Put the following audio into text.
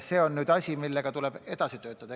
See on asi, millega tuleb edasi töötada.